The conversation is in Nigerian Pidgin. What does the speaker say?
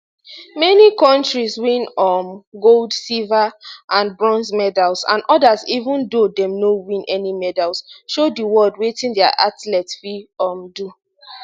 many kontris win um gold silver and bronze medals and odas even though dem no win any medals show di world wetin dia athletes fit um do